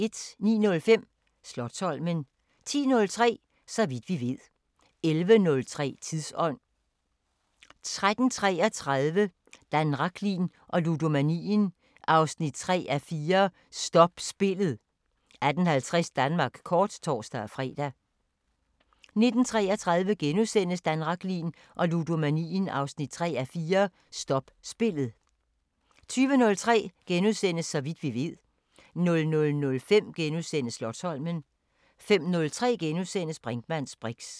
09:05: Slotsholmen 10:03: Så vidt vi ved 11:03: Tidsånd 13:33: Dan Rachlin og ludomanien 3:4 – Stop spillet 18:50: Danmark kort (tor-fre) 19:33: Dan Rachlin og ludomanien 3:4 – Stop spillet * 20:03: Så vidt vi ved * 00:05: Slotsholmen * 05:03: Brinkmanns briks *